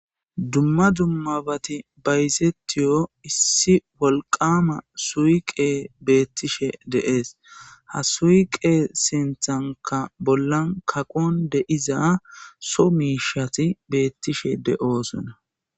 Dumma dummabatti bayizzetiyo issi wolqqama suqeyi betishshe de'ees.haa suyiqqe sinththanikka bollanni kaqqonni de'izza Soo mishshatti bettishshe de'osonna.